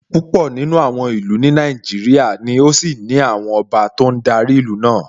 Púpọ̀ nínú àwọn ìlú ní Nàìjíríà ni ó ṣì ní àwọn ọba tó ń darí ìlú náà